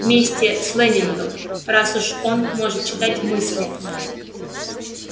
вместе с лэннингом раз уж он может читать мысли